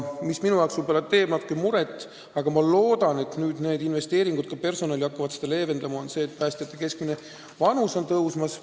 Ma loodan, et personali huvides tehtavad investeeringud hakkavad palgaprobleemi leevendama ja see vähendab ka seda probleemi, et päästjate keskmine vanus on tõusmas.